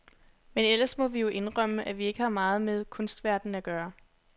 Men ellers må vi jo indrømme, at vi ikke har meget med kunstverdenen at gøre.